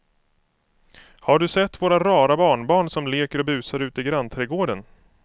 Har du sett våra rara barnbarn som leker och busar ute i grannträdgården!